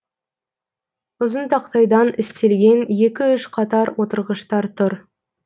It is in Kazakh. ұзын тақтайдан істелген екі үш қатар отырғыштар тұр